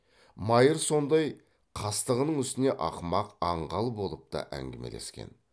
майыр сондай қастығының үстіне ақымақ аңғал болып та әңгімелескен